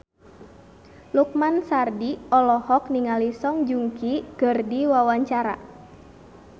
Lukman Sardi olohok ningali Song Joong Ki keur diwawancara